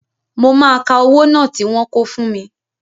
Mo máa ka owó náà tí wọ́n kó fún mi